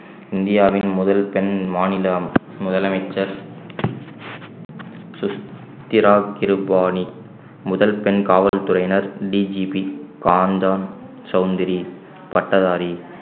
இந்தியாவின் முதல் பெண் மாநிலம் முதலமைச்சர் சுசேதா கிருபளானி முதல் பெண் காவல்துறையினர் DGP காஞ்சன் சவுத்ரி பட்டதாரி